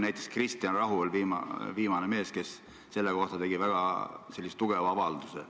Näiteks Kristjan Rahu tegi hiljuti selle kohta väga tugeva avalduse.